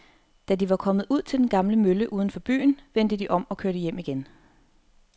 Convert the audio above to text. Da de var kommet ud til den gamle mølle uden for byen, vendte de om og kørte hjem igen.